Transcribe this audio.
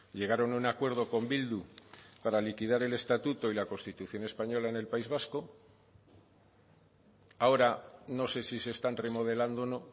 llegaron a un acuerdo con bildu para liquidar el estatuto y la constitución española en el país vasco ahora no sé si se están remodelando o no